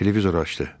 Televizor açdı.